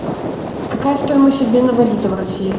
какая стоимость обмена валюты в россии